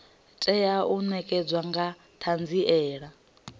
tea u ṋekana nga ṱhanziela